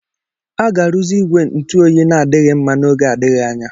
A ga-arụzi igwe ntụ oyi na-adịghị mma n'oge adịghị anya